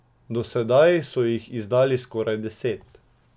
Do sedaj so jih izdali skoraj deset.